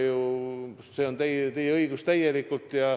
See on täielikult teie õigus.